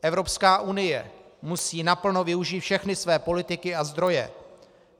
Evropská unie musí naplno využít všechny své politiky a zdroje.